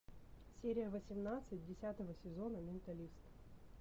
серия восемнадцать десятого сезона менталист